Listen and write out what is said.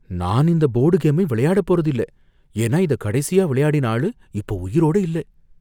நான் இந்த போர்டு கேமை விளையாட போறது இல்ல. ஏன்னா, இதை கடைசியா விளையாடின ஆளு இப்ப உயிரோட இல்ல.